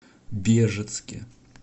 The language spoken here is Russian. бежецке